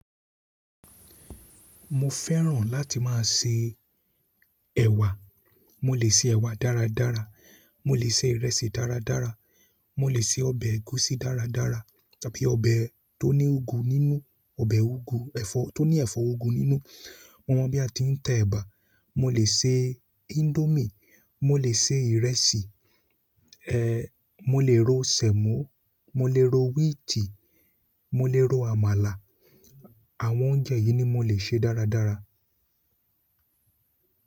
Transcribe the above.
Mo fẹ́ràn láti máa se ẹ̀wà, mo lè se ẹ̀wà dáradára, mo lè se ìrẹsì dáradára, mo lè se ọbẹ̀ ẹ̀gúsí dáradára tàbí ọbẹ̀ tó ní úgwú nínú, ọbẹ̀ úgwú, ẹ̀fọ́ tó ní ẹ̀fọ́ úgwú nínú. Mo mọ̀ bí a ti ń te ẹ̀bà, mo lè se índómì, mo lè se ìrẹsì, ẹ, mo lè ro sẹ̀mọ́, mo lè ro wíìtì, mo lè ro àmàlà. Àwọn oúnjẹ yìí ni mo lè ṣe dáradára.